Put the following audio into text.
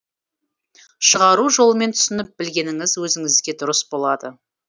шығару жолымен түсініп білгеніңіз өзіңізге дұрыс болады